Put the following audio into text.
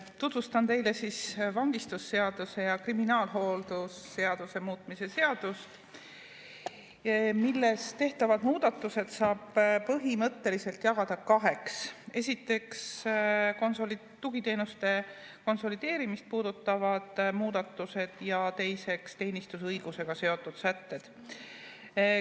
Tutvustan teile vangistusseaduse ja kriminaalhooldusseaduse muutmise seadust, milles tehtavad muudatused saab põhimõtteliselt jagada kaheks: esiteks, tugiteenuste konsolideerimist puudutavad muudatused, ja teiseks, teenistusõigusega seotud sätted.